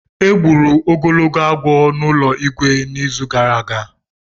E gburu ogologo agwọ n’ụlọ Igwe n’izu gara aga.